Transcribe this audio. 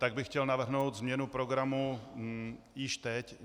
Tak bych chtěl navrhnout změnu programu již teď.